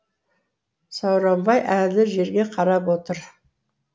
сауранбай әлі жерге қарап отыр